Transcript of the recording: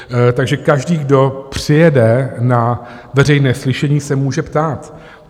Takže každý, kdo přijede na veřejné slyšení, se může ptát.